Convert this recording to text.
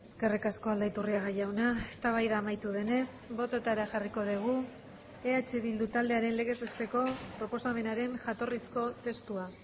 eskerrik asko aldaiturriaga jauna eztabaida amaitu denez bototara jarriko dugu eh bildu taldearen legez besteko proposamenaren jatorrizko testua